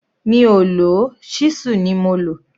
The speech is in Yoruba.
Mi ò lò ó, ṣísù ni mo lò